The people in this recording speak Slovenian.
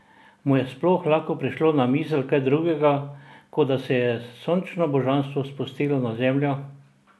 Mu je sploh lahko prišlo na misel kaj drugega, kot da se je sončno božanstvo spustilo na Zemljo?